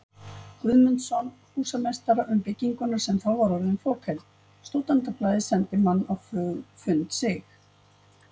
Guðmundsson, húsameistara, um bygginguna, sem þá var orðin fokheld: Stúdentablaðið sendi mann á fund Sig.